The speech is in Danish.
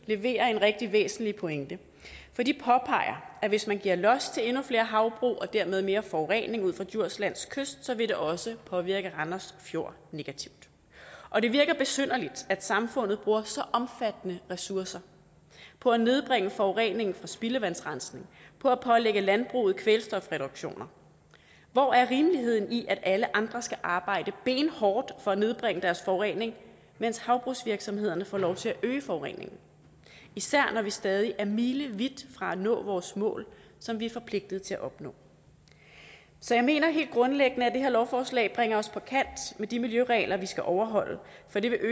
leverer en rigtig væsentlig pointe for de påpeger at hvis man giver los endnu flere havbrug og dermed mere forurening ud for djurslands kyst vil det også påvirke randers fjord negativt og det virker besynderligt når samfundet bruger så omfattende ressourcer på at nedbringe forureningen fra spildevandsrensning og på at pålægge landbruget kvælstofreduktioner hvor er rimeligheden i at alle andre skal arbejde benhårdt for at nedbringe deres forurening mens havbrugsvirksomhederne får lov til at øge forureningen især når vi stadig er milevidt fra at nå vores mål som vi er forpligtet til at nå så jeg mener helt grundlæggende at det her lovforslag bringer os på kant med de miljøregler vi skal overholde for det vil øge